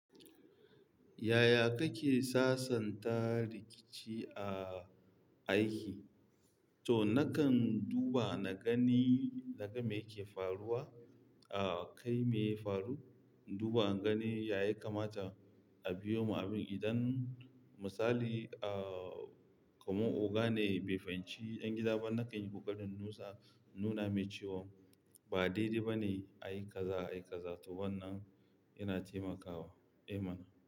Yaya kake sasanta rikici a aiki? To nakan duba na gani naga me yake faruwa, a kai me ya faru, duba na gani ya ya kamata a biyo ma abin idan misali, ah, kamar oga ne bai fahimci 'yan gida ba, nakan yi kokarin nusa nuna mai cewa ba daidai ba ne a yi kaza, a yi kaza. To wannan yana taimakawa. Amen.